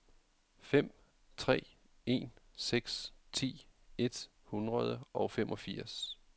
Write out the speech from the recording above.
fem tre en seks ti et hundrede og femogfirs